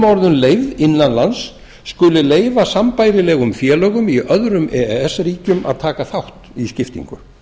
möo leyfð innan lands skuli leyfa sambærilegum félögum í öðrum e e s ríkjum að taka þátt í skiptingu